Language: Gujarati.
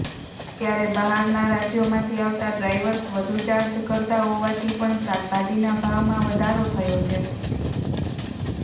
ત્યારે બહારના રાજ્યોમાંથી આવતા ડ્રાઈવર્સ વધુ ચાર્જ કરતા હોવાથી પણ શાકભાજીના ભાવમાં વધારો થયો છે